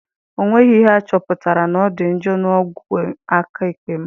Ọ nweghị ihe achọpụtara na ọ dị njọ na ogwe aka ekpe m